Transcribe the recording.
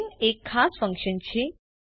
main એક ખાસ function છે